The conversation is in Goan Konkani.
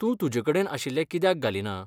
तूं तुजे कडेन आशिल्ले कित्याक घालिना?